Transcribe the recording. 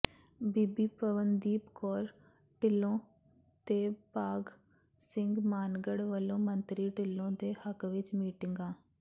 ਬੀਬੀ ਪਵਨਦੀਪ ਕੌਰ ਢਿੱਲੋਂ ਤੇ ਭਾਗ ਸਿੰਘ ਮਾਨਗੜ੍ਹ ਵੱਲੋਂ ਮੰਤਰੀ ਢਿੱਲੋਂ ਦੇ ਹੱਕ ਵਿਚ ਮੀਟਿੰਗਾਂ